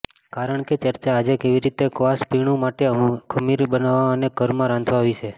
કારણ કે ચર્ચા આજે કેવી રીતે ક્વાસ પીણું માટે ખમીર બનાવવા અને ઘરમાં રાંધવા વિશે